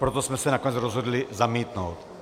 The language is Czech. Proto jsme se nakonec rozhodli zamítnout.